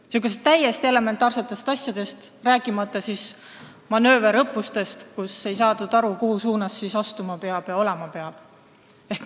Nad ei saanud aru täiesti elementaarsetest asjadest, rääkimata selles, et manööverõppustel ei saadud aru, kuhu suunas astuma ja kuidas olema peab.